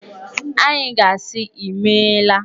Anyị ga-asị Imeela.